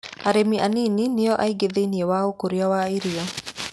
Arĩmi a nini nĩ o aingĩ thĩiniĩ waũkũria wa irio.